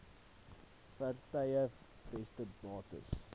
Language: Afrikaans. vaartuie vaste bates